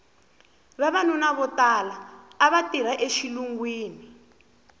vavanuna vo tala ava tirha exilungwini